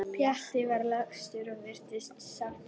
Pjatti var lagstur og virtist sáttur.